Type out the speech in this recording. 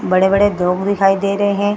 बड़े-बड़े धुप दिखाई दे रहे है।